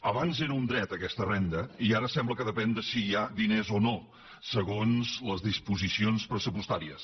abans era un dret aquesta renda i ara sembla que depèn de si hi ha diners o no segons les disposicions pressupostàries